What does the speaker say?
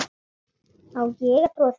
Á ég að trúa því?